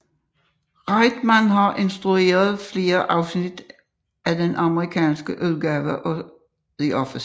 Reitman har instrueret flere afsnit af den amerikanske udgave af The Office